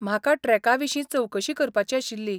म्हाका ट्रॅका विशीं चवकशी करपाची आशिल्ली.